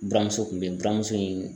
Buramuso kun bɛ yen buramuso in